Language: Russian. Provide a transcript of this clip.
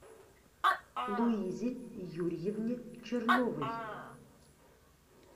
луизе юрьевне черновой